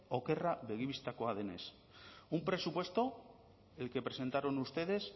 okerra begibistakoa denez un presupuesto el que presentaron ustedes